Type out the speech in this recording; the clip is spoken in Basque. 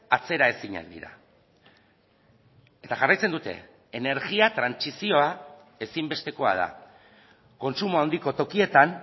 atzeraezinak dira eta jarraitzen dute energia trantsizioa ezinbestekoa da kontsumo handiko tokietan